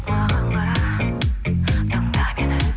маған қара тыңда мені